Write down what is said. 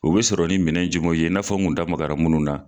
O bɛ sɔrɔ nin minɛn jumɛn ye , n tun da magara minnu na.